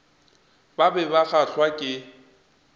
ba be ba kgahlwa ke